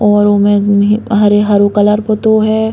और हरे-हरो कलर पुतो है।